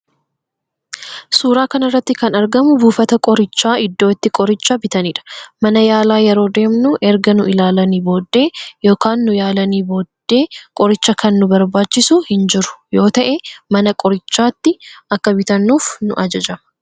Suuraa kanarratti kan argamu buufata qorichaa iddoo itti qorichaa bitanidha. Mana yaalaa yeroo deemnu erga nu ilaanii boodee yookan nu yaalani boodde qorichaa kan nu barbaachisu hin jiru yoo ta'e mana qorichaa ti Akka bitannuuf nu ajajama.